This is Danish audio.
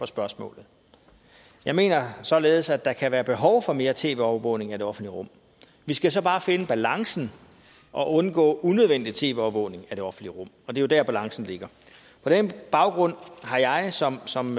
spørgsmålet jeg mener således at der kan være behov i for mere tv overvågning af det offentlige rum vi skal så bare finde balancen og undgå unødvendig tv overvågning af det offentlige rum og det er jo der balancen ligger på den baggrund har jeg som som